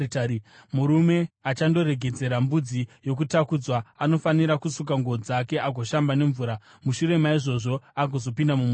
“Murume achandoregedzera mbudzi yokutakudzwa, anofanira kusuka nguo dzake agoshamba nemvura; mushure maizvozvo agozopinda mumusasa.